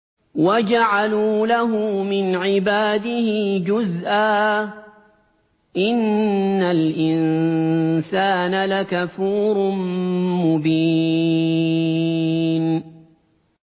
وَجَعَلُوا لَهُ مِنْ عِبَادِهِ جُزْءًا ۚ إِنَّ الْإِنسَانَ لَكَفُورٌ مُّبِينٌ